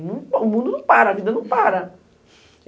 O mundo não para, a vida não para.